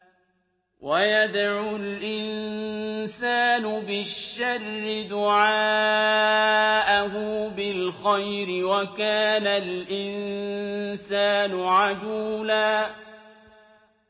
وَيَدْعُ الْإِنسَانُ بِالشَّرِّ دُعَاءَهُ بِالْخَيْرِ ۖ وَكَانَ الْإِنسَانُ عَجُولًا